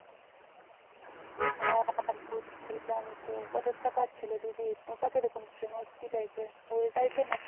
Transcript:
আহ বুঝছিলাম তো but ওটা কার ছিল দিদির ওটা কি রকম frame কি type র ওইটাই তো